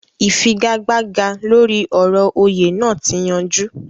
Ìfigagbága lóri ọ̀rọ̀ òyè naa ti yanjú